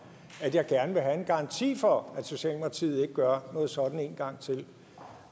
at jeg gerne vil have en garanti for at socialdemokratiet ikke gør noget sådant en gang til